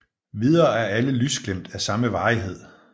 Videre er alle lysglimt af samme varighed